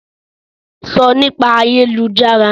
Sọ Nípa ayélujára!